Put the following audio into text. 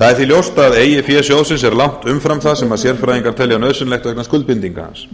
það er því ljóst að eigið fé sjóðsins er langt umfram það sem sérfræðingar telja nauðsynlegt vegna skuldbindinga hans